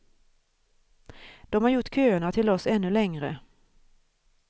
De har gjort köerna till oss ännu längre.